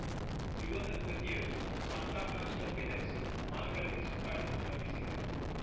ಯುವಕಯುವತಿಯರು Santa Claus ಟೋಪಿ ಧರಿಸಿ ಮಾಲ್‌ಗಳಲ್ಲಿ ಸುತ್ತಾಡಿ ಸಂಭ್ರಮಿಸಿದರು